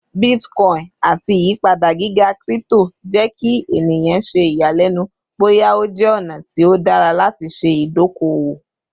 Bitcoin ati iyipada giga crypto jẹ ki eniyan ṣe iyalẹnu boya o jẹ ọna ti o dara lati ṣe idoko-owo